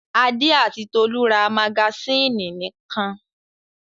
Adé àti Tolú rs magasínì nìkan.